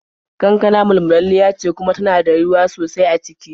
Kankana mulmulalliya ce kuma tana da ruwa sosai a ciki.